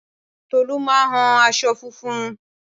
Tolú máa hun aṣọ funfun